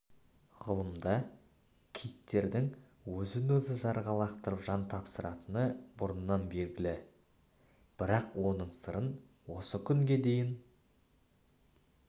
ғылымда киттердің өзін өзі жаға лақтырып жан тапсыратыны бұрыннан белгілі бірақ оның сырын осы күнге дейін